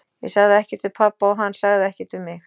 Ég sagði ekkert við pabba og hann sagði ekkert við mig.